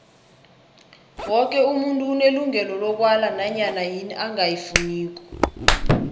woke umuntu unelungelo lokwala nanyana yini angayifuniko